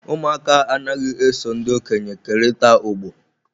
Ụmụaka anaghị eso ndị okenye kerịta ogbo.